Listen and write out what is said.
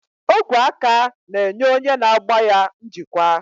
Ogwe aka na-enye onye na-agba ya njikwa.